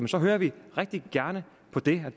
så hører vi rigtig gerne på det